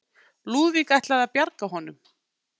Lúðvík ætlað að bjarga honum.